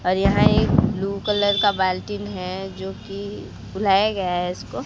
और यहां एक ब्लू कलर का बाल्टीन है जो कि बुलाया गया है इसको।